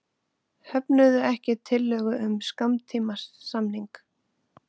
Höfnuðu ekki tillögu um skammtímasamning